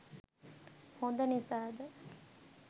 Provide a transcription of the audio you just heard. හොඳ නිසාද?